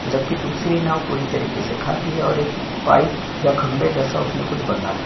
जबकि दूसरी नाव पूरी तरीके से खाली है पाइप या खंभे जैसा उसमें कुछ बंधा हैं।